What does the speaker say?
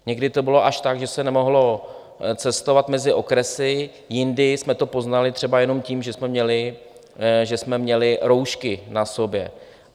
Někdy to bylo až tak, že se nemohlo cestovat mezi okresy, jindy jsme to poznali třeba jenom tím, že jsme měli roušky na sobě.